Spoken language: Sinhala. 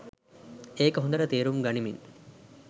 ඒක හොඳට තේරුම් ගනිමින්